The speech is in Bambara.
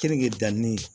Kenige danni